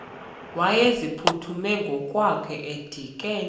wayeziphuthume ngokwakhe edikeni